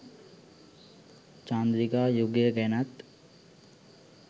චන්ද්‍රිකා යුගය ගැනත්